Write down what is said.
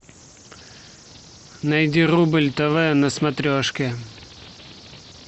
найди рубль тв на смотрешке